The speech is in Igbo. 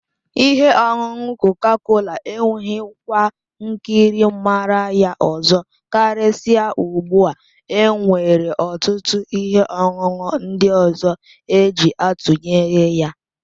Ihe ọṅụṅụ koka-kola enweghị kwa nkiri màrà ya ọzọ, karịsịa ugbu a e nwere ọtụtụ ihe ọṅụṅụ ndị ọzọ eji atụnyere ya.